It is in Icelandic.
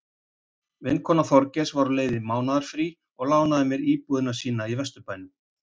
Vinkona Þorgeirs var á leið í mánaðarfrí og lánaði mér íbúð sína í vesturbænum.